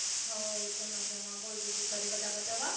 હવ એક દમ મજામાં બોલ બીજુ ઘરે બધા મજામાં?